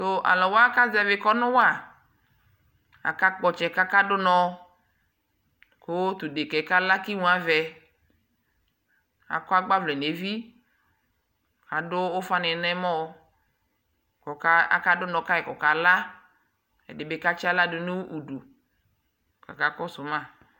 Tuu aluwa kaƶɛvi kɔnu wa Aka kpɔtsɛ kakadu unɔɔ kuu tudekɛ galakimuavɛ akɔɔ agbavlɛ nevi adu ufani nɔmɔɔ kaka du unɔɔ kayi kɔkala ɛdii bi katsaɣladu nudu kaka kɔsuu ava ma